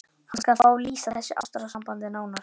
Hann skal fá að lýsa þessu ástarsambandi nánar.